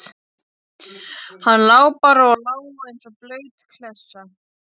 Hann lá bara og lá eins og blaut klessa.